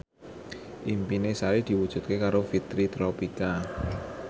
impine Sari diwujudke karo Fitri Tropika